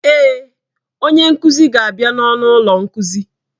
Èé, onye nkuzi ga-abịa n'ọnụ ụlọ nkuzi.